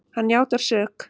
Hann játar sök.